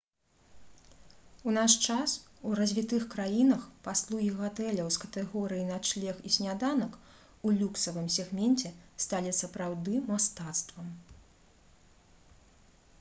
у наш час у развітых краінах паслугі гатэляў з катэгорыі «начлег і сняданак» у люксавым сегменце сталі сапраўды мастацтвам